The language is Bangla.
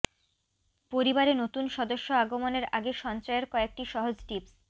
পরিবারে নতুন সদস্য আগমনের আগে সঞ্চয়ের কয়েকটি সহজ টিপস